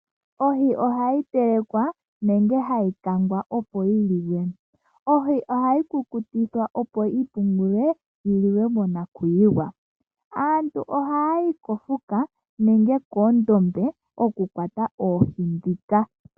Ohi ohayi telekwa na ohayi kangwa woo opo yi liwe. Ohi ohayi kukutikwa opo yipungulwe yi liwe monakuyiwa. Aantu ohaya yi koondombe ya ka kwate oohi.